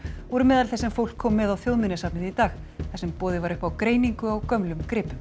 voru meðal þess sem fólk kom með á Þjóðminjasafnið í dag þar sem boðið var upp á greiningu á gömlum gripum